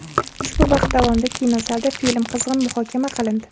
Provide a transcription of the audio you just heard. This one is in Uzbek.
Ushbu vaqt davomida kinozalda film qizg‘in muhokama qilindi.